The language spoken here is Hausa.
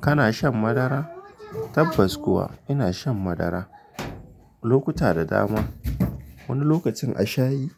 Kana shan madara? Tabbas kuwa ina shan madara lokuta da dama. Wani lokacin a shayi,